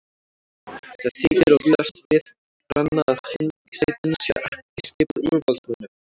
Það þykir og víðast við brenna að þingsætin séu ekki skipuð úrvalsmönnum.